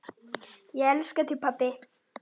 Ég elska þig pabbi minn.